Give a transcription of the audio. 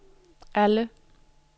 alle